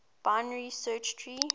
binary search tree